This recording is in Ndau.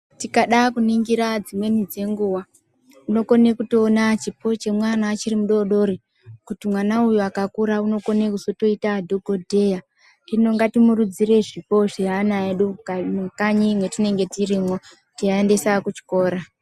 Tikada kuningire dzimweni dzenguwa, tinokone kutowona chipo chemwana achiri mudodori, kuti mwana uyu akakura unokone kuzotoyita dhokodheya, hino ngatimurudzire zvipo zveana edu mukanyi mwatinenge tirimwo, teyi aendesa kuchikora.